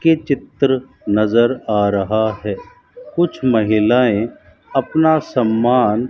के चित्र नज़र आ रहा है कुछ महिलाएं अपना समान --